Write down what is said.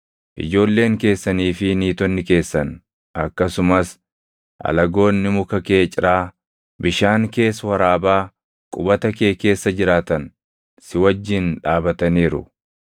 ijoolleen keessanii fi niitonni keessan akkasumas alagoonni muka kee ciraa, bishaan kees waraabaa qubata kee keessa jiraatan si wajjin dhaabataniiru.